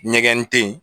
Ɲɛgɛn tɛ yen